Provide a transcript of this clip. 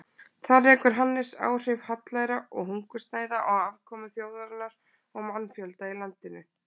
Þar rekur Hannes áhrif hallæra og hungursneyða á afkomu þjóðarinnar og mannfjölda í landinu.